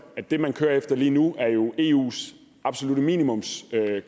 det man kører efter lige nu er eus absolutte minimumskrav og